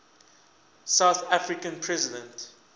south african president